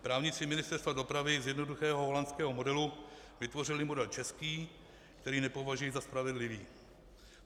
Právníci Ministerstva dopravy z jednoduchého holandského modelu vytvořili model český, který nepovažuji za spravedlivý.